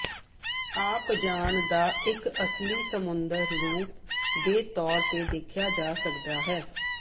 ਆਪ ਜਾਣ ਦਾ ਇੱਕ ਅਸਲੀ ਸਮੁੰਦਰ ਰੁਮ ਦੇ ਤੌਰ ਤੇ ਦੇਖਿਆ ਜਾ ਸਕਦਾ ਹੈ